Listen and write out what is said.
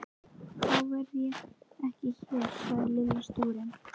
Þá verð ég ekki hér sagði Lilla stúrin.